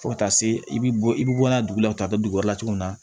Fo ka taa se i bi bɔ i bi bɔ n'a ye dugu la ka taa dugu wɛrɛ la tuguni